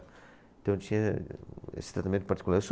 Então, eu tinha esse tratamento particular.